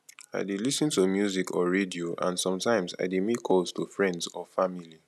i dey lis ten to music or radio and sometimes i dey make calls to friends or family